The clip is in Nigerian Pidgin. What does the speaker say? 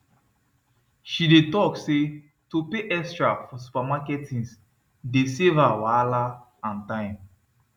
she dey talk say to pay extra for supermarket things dey save her wahala and time